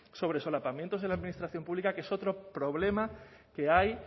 sobre solapamientos en la administración pública que es otro problema que hay